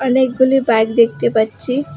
অনেকগুলি বাইক দেখতে পাচ্চি ।